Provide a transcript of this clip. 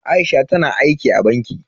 Aisha tana aiki a banki.